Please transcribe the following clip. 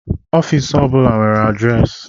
Ofiisi o bụla na-enweriri adịresị